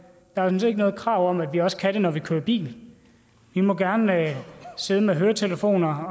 sådan set ikke noget krav om at vi også kan høre når vi kører bil vi må gerne sidde med høretelefoner